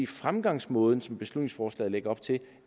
fremgangsmåde som beslutningsforslaget lægger op til ikke